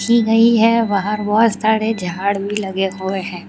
सी गई है बाहर बहुत सारे झाड़ भी लगे हुए हैं।